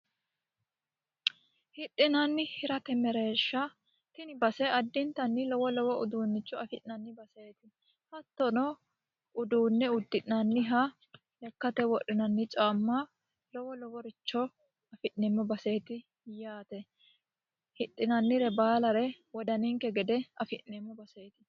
hidhinanni hirate mereeshsha tini base addintanni lowo lowo uduunnicho afi'nanni baseeti hattono uduunne uddi'nanniha lekkate wodhinanni caamma lowo loworicho afi'neemmo baseeti yaate hidhinannire baalare wodaninke gede afi'neemmo baseeti